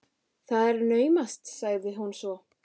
Það er naumast sagði hún svo.